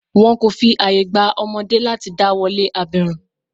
Wọn kò fi àye gba ọmọdé láti dá wolé abirùn.